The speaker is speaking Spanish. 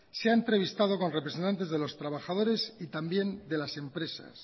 se ha entrevistado con representantes de los trabajadores y también de las empresas